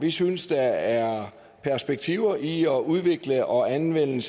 vi synes der er perspektiver i at udvikle og anvende